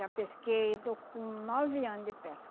já pesquei, estou com nove anos de pesca.